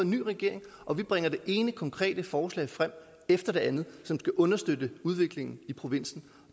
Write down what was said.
ny regering og vi bringer det ene konkrete forslag frem efter det andet som skal understøtte udviklingen i provinsen